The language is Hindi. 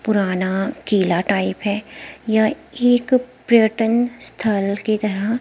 पुराना किला टाइप है यह एक पर्यटन स्थल की तरह--